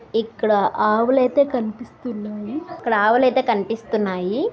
ఇక్కడ ఆవులు అయితే కనిపిస్తున్నాయి. ఇక్కడ ఆవులు అయితే కనిపిస్తున్నాయి.